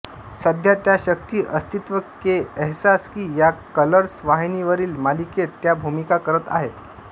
सध्या त्या शक्ती अस्तित्व के एहसास की या कलर्स वाहिनीवरील मालिकेत त्या भूमिका करत आहेत